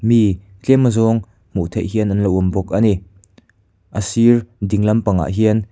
mi tlem azawng hmuh theih hian an lo awm bawk a ni a sir ding lampangah hian--